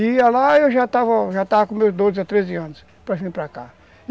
E ia lá e eu já estava já estava com meus doze a treze anos para vir para cá.